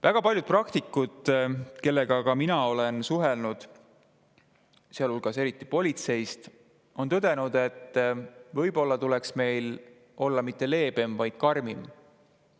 Väga paljud praktikud, kellega ka mina olen suhelnud, eriti politseist, on tõdenud, et võib-olla tuleks meil olla mitte leebem, vaid karmim.